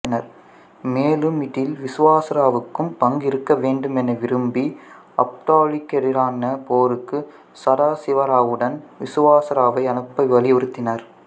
மேலும் இதில் விசுவாசராவுக்கும் ஒரு பங்கு இருக்கவேண்டும் என விரும்பி அப்தாலிக்கு எதிரான போருக்கு சதாசிவராவுடன் விசுவாசராவை அனுப்ப வலியுறுத்தினார்